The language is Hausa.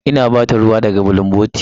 Ina ba ta ruwa daga bulunboti.